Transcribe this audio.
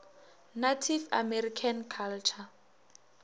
native american culture